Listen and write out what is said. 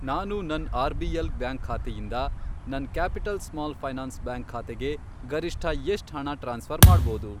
ನಾನು ನನ್ RBL. Bank ಖಾತೆಯಿಂದ ನನ್ ಕ್ಯಾಪಿಟಲ್ ಸ್ಮಾಲ್ ಫೈನಾನ್ಸ್ ಬ್ಯಾಂಕ್ ಖಾತೆಗೆ ಗರಿಷ್ಠ ಎಷ್ಟ್ ಹಣ ಟ್ರಾನ್ಸ್ಫ಼ರ್ ಮಾಡ್ಬೋದು?